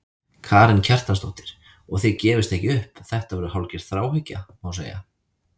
Karen Kjartansdóttir: Og þið gefist ekki upp, þetta verður hálfgerð þráhyggja, má segja?